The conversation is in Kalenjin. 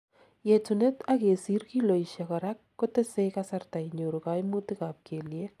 yetunet ak kesir kiloisiek korak kotesei kasarta inyoru kaomutik ab keliek